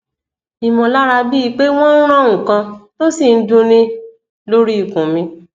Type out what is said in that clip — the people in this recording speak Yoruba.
imolara bii pe wo n ran nkan to si n n dunni lori ikun mi